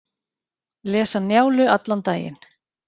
Lesa Njálu allan daginn